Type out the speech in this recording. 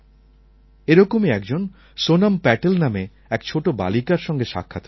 এরকমই একজন সোনম্ প্যাটেল নামে এক ছোটো বালিকার সঙ্গে সাক্ষাৎ হয়েছে